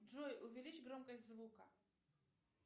джой увеличь громкость звука